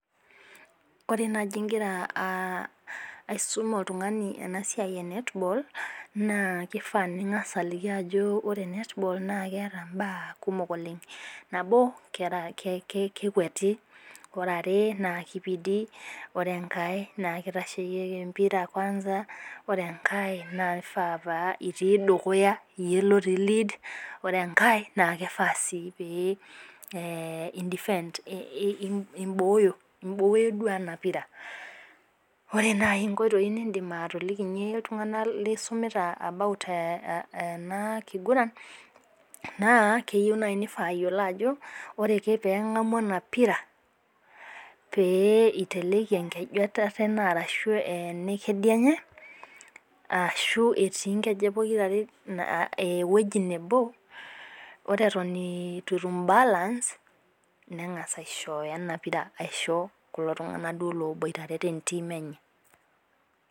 Oreenaji igira aisum oltungani enaasiai ee (netball)naa kifaa ningas aliki ajoki ore (netball) naa ketaa ibaa nabo naa kekweti ,are kipidi, ore enkae naa kitasheyieki embira (Kwanza),ore enkae naa kifaa pitiii dukuya yie otiii(lead),ore enkae naa kifaa pee (indefent) iboyoo iboyoo enaa pira ore naai ingoitoyio nindim atolikinyie intunganak lisumita (about) enakiguran naa keyieu naii nifaa peyiolou ajo ore ake pee engamu enapira pee iteleki enkeju enetatenee, Ashu enekedienye, Ashu etii enkejek pokira are eweji neboo ore eton itu etum (balance)nengas aishoyo enampira aisho kulo tunganak duoo oboitare teteam eye